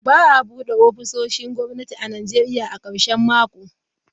Ba a bude ofisoshin gwamnati a Najeriya a karshen mako.